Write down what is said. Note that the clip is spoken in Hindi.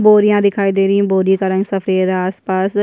बोरियां दिखाई दे रही है बोरियो का रंग सफ़ेद आसपास --